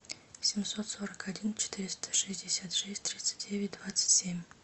семьсот сорок один четыреста шестьдесят шесть тридцать девять двадцать семь